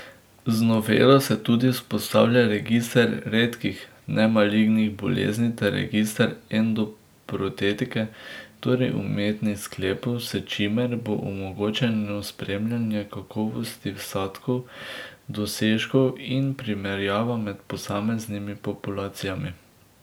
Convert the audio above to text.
Z novelo se tudi vzpostavljata register redkih nemalignih bolezni ter register endoprotetike, torej umetnih sklepov, s čimer bo omogočeno spremljanje kakovosti vsadkov, dosežkov in primerjava med posameznimi populacijami.